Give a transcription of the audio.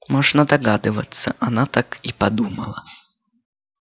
можно догадываться она так и подумала